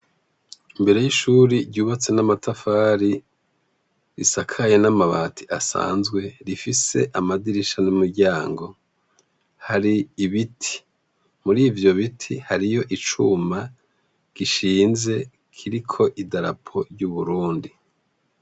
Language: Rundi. Imbere y'ishuri ryubatse n'amatafari risakaye n'amabati asanzwe rifise amadirisha n'umuryango. Hari ibiti. Muri ivyo biti, hariyo icuma gishinze kiriko idarapo ry'uburundi.